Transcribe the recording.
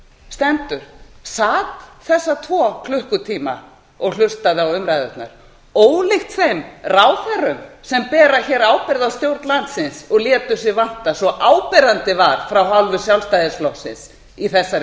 stendur sat þessa tvo klukkutíma og hlustaði á umræðurnar ólíkt þeim ráðherrum sem bera hér ábyrgð á stjórn landsins og létu sig vanta svo áberandi var af hálfu sjálfstæðisflokksins í þessari